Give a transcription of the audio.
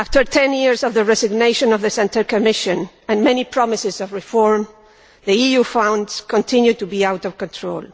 10 years after the resignation of the Santer Commission, and many promises of reform, the EU's funds continue to be out of control.